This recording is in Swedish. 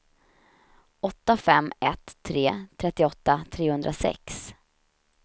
åtta fem ett tre trettioåtta trehundrasex